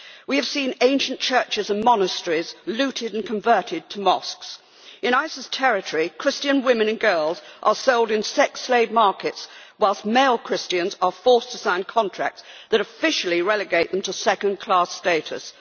We have seen ancient churches and monasteries looted and converted to mosques. In ISIS territory, Christian women and girls are sold in sex slave markets, whilst male Christians are forced to sign contracts that officially relegate them to second-class status.